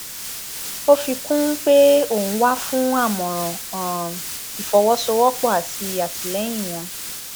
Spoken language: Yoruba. ó fi um kún un pé òun wà fún àmọràn um ìfọwọsowọpọ àti àtìlẹyìn wọn